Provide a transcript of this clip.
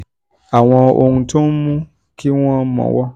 àwọn ohun tó ohun tó ń mú kí wọ́n mọ̀wọ̀n